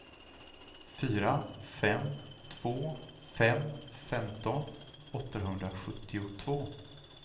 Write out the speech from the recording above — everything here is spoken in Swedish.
fyra fem två fem femton åttahundrasjuttiotvå